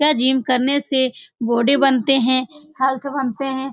यह जिम करने से बॉडी बनते है हेल्थ बनते है।